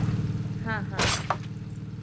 ಹ್ಮ ಹ್ಮ.